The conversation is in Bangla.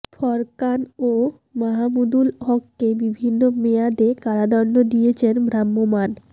ফোরকান ও মাহমুদুল হককে বিভিন্ন মেয়াদে কারাদণ্ড দিয়েছেন ভ্রাম্যমাণ